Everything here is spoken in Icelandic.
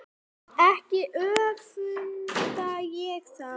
Ekki öfunda ég þá